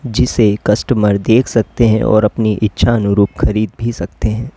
जिसे कस्टमर देख सकते हैं और अपनी इच्छा अनुरूप खरीद भी सकते हैं।